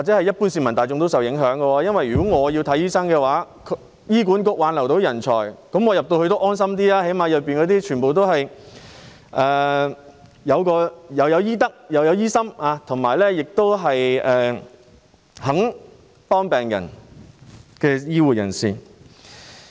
一般市民可能亦會受到影響，因為如果他們想求醫，而醫管局能夠挽留人才，這樣他們便可安心一點，至少醫院內都是有醫德而且願意幫助病人的醫護人員。